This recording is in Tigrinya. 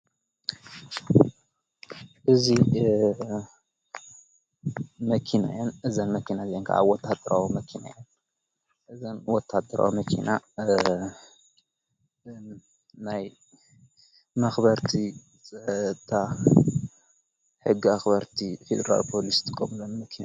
እዙ መኪነያን እዘን መኪና ዘን ከዓብ ወታደረዊ መኪንያን እዘን ወታደራ መኪና ናይ ማኽበርቲ ፀታ ሕጊ ኣኽበርቲ ፌድራል ጶሉስ ትቆምለን መኪና እየን።